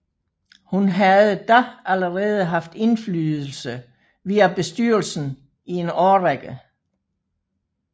Hun havde da allerede haft indflydelse via bestyrelsen i en årrække